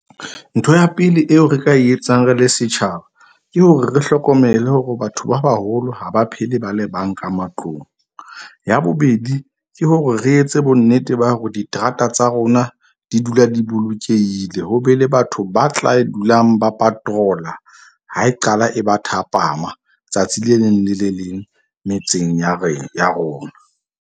Ntho ya pele eo re ka e etsang re le setjhaba ke hore re hlokomele hore batho ba baholo ha ba phele ba le bang ka matlong. Ya bobedi, ke hore re etse bonnete ba hore diterata tsa rona di dula di bolokehile, ho be le batho ba tla e dulang ba patrol-a ha e qala e ba thapama tsatsi le leng le le leng metseng ya ya rona.